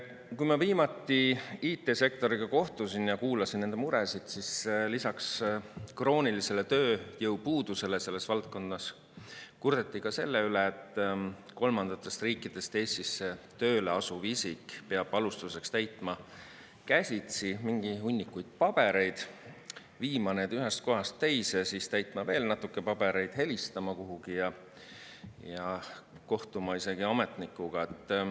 Kui ma viimati IT-sektoriga kohtusin ja kuulasin nende muresid, siis lisaks kroonilisele tööjõupuudusele selles valdkonnas kurdeti ka selle üle, et kolmandatest riikidest Eestisse tööle asuv isik peab alustuseks täitma käsitsi mingi hunniku pabereid, viima need ühest kohast teise, siis täitma veel natuke pabereid, helistama kuhugi ja kohtuma isegi ametnikuga.